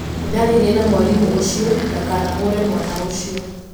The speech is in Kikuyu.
Nĩ ndaaririe na mwarimũ ũcio ndakanahũũrĩ mwana ũcio.